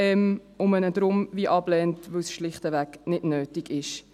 Und man lehnt ihn daher ab, weil es schlichtweg nicht nötig ist.